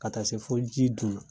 Ka taa se fo ji dun na